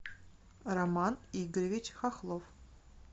роман игоревич хохлов